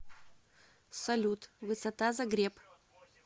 салют высота загреб